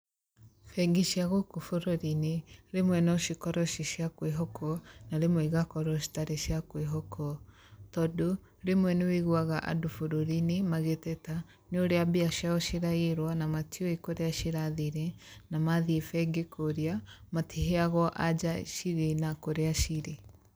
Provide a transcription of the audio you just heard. Bengi cia gũkũ bũrũri-inĩ rimwe no cikorwo ci cia kwihokwo na rimwe igakorwo citarĩ cia kwĩhokwo, tondũ rĩmwe nĩ ũiguaga andũ bũrũri-inĩ magĩteta nĩũrĩa mbia ciao ciraiyirwo na matiũĩ kũrĩa cirathire na mathiĩ bengi kũria matiheagwo anja cirĩ na kũrĩa cirĩ.